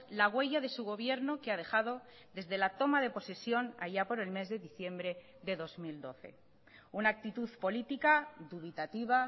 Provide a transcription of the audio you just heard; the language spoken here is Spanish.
la huella de su gobierno que ha dejado desde la toma de posesión allá por el mes de diciembre de dos mil doce una actitud política dubitativa